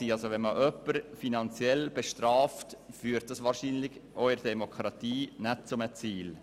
Bestraft man jemanden finanziell, führt dies wahrscheinlich auch in einer Demokratie nicht zu einem Ziel.